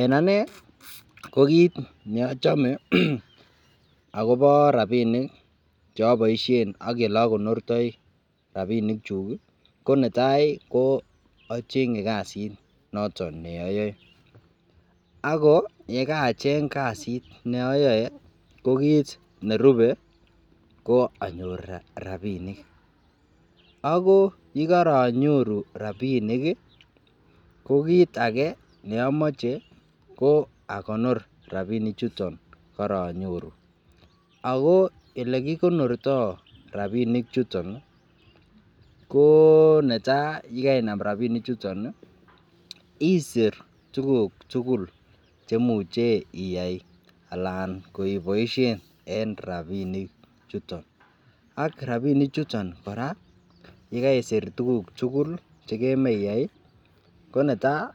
En Ane ko kit neachome akopo rabinik cheaboishe ak elokonortoi rabinik chuk KO netai ko achenye kasit neayoe ako yekacheng kasit ko kitnerube ko anyor rabinik ako yekanyoru rabinik ko kit Ake komoche akonyor rabinik Chuton karanyoru ako olekikonortoi rabinik chuton ko netai komakonor rabinik chuton isir tukuk tukul muche iyai Alan en rabinik ak rabinik chuton kora yegaisir tuguk chuton tukuk tukul iyai netai